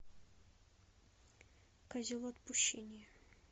козел отпущения